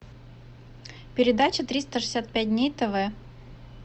передача триста шестьдесят пять дней тв